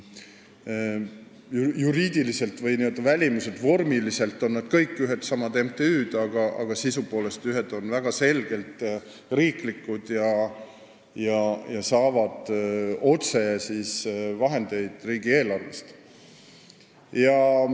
Juriidiliselt või vormiliselt on nad kõik ühedsamad MTÜ-d, aga sisu poolest on osa väga selgelt riiklikud, saades vahendeid otse riigieelarvest.